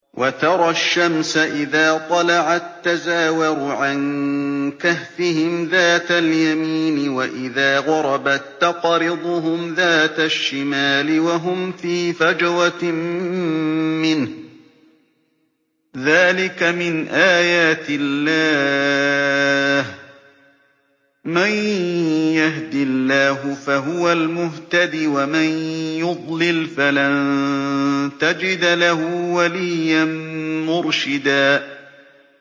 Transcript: ۞ وَتَرَى الشَّمْسَ إِذَا طَلَعَت تَّزَاوَرُ عَن كَهْفِهِمْ ذَاتَ الْيَمِينِ وَإِذَا غَرَبَت تَّقْرِضُهُمْ ذَاتَ الشِّمَالِ وَهُمْ فِي فَجْوَةٍ مِّنْهُ ۚ ذَٰلِكَ مِنْ آيَاتِ اللَّهِ ۗ مَن يَهْدِ اللَّهُ فَهُوَ الْمُهْتَدِ ۖ وَمَن يُضْلِلْ فَلَن تَجِدَ لَهُ وَلِيًّا مُّرْشِدًا